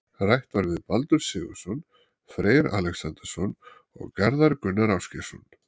Rætt var við Baldur Sigurðsson, Freyr Alexandersson og Garðar Gunnar Ásgeirsson.